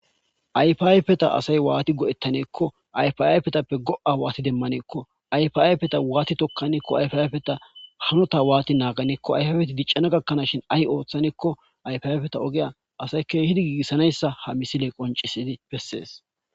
Ayfayfeta asay waati go'ettaneekko ayfaypetappe go'a waati demmaneekko ayfayfeta waati tokkaneekko ayfayfeta hanota waati naaganeekko ayfafeti diccana gakkanashin ahi ooththaneekko ayfiayfeta ogeya asay keehidi giissanayssa ha misile qoncisidi bessees.